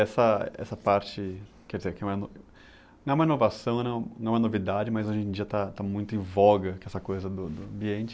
Essa, essa parte, quer dizer, que é uma ino, não é uma inovação, não, não é uma novidade, mas hoje em dia está, está muito em voga, que é essa coisa do, do ambiente.